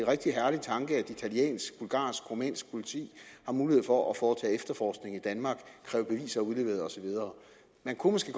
rigtig herlig tanke at italiensk bulgarsk og rumænsk politi har mulighed for at foretage efterforskning i danmark kræve beviser udleveret og så videre man kunne måske